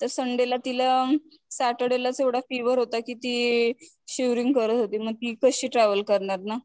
तर संडे ला तिला सॅटरडे लाच एव्हडा फिव्हर होता कि ती शिवरिंग करत होती मग ती कशी ट्रॅव्हल करणार ना.